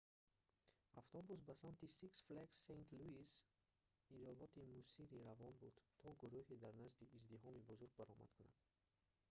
автобус ба самти six flags st. louis‑и иёлоти миссури равон буд то гурӯҳ дар назди издиҳоми бузург баромад кунад